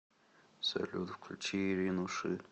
салют включи ирину ши